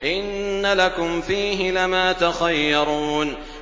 إِنَّ لَكُمْ فِيهِ لَمَا تَخَيَّرُونَ